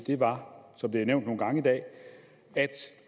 var som det er nævnt nogle gange i dag at